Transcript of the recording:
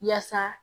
Yaasa